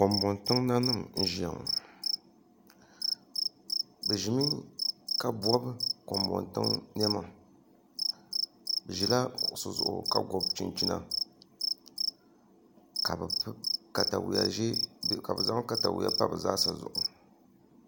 Kanboŋ tiŋ nanima n ʒiya ŋo bi ʒimi ka bob kanboŋ tiŋ niɛma bi ʒila kuɣusi zuɣu ka gobi chinchina ka bi zaŋ katawiya pa bi zaa sa zuɣu